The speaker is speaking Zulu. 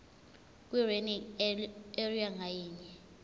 kwilearning area ngayinye